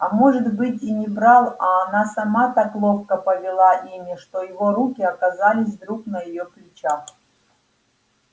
а может быть и не брал а она сама так ловко повела ими что его руки оказались вдруг на её плечах